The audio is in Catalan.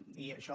i això